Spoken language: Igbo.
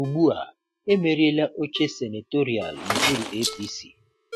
Ugbu a, emeriela oche senatorial n'okpuru APC.